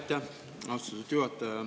Aitäh, austatud juhataja!